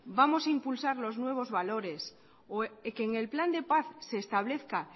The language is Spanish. vamos a impulsar los nuevos valores o que en el plan de paz se establezca